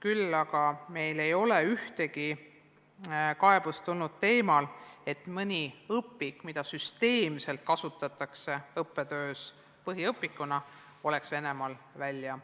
Meile ei ole aga tulnud ühtegi kaebust selle kohta, et mõni õpik, mida süsteemselt kasutatakse õppetöös põhiõpikuna, oleks välja antud Venemaal.